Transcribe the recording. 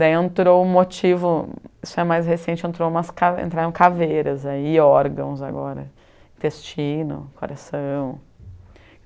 Daí entrou um motivo, isso é mais recente, entrou umas ca entraram caveiras, e órgãos agora, intestino, coração.